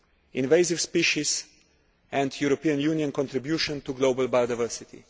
invasive species and the European Union's contribution to global biodiversity.